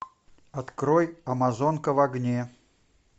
открой амазонка в огне